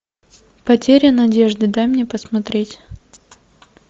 потеря надежды дай мне посмотреть